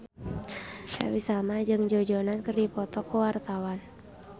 Happy Salma jeung Joe Jonas keur dipoto ku wartawan